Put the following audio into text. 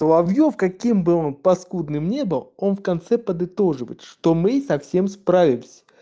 соловьёв каким был по скудным не был он в конце подытоживал что мы со всем справимся